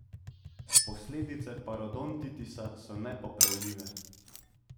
Posledice parodontitisa so nepopravljive.